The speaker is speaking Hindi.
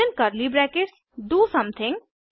within curly brackets do something